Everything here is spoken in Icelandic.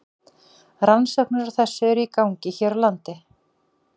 Rannsóknir á þessu eru í gangi hér á landi.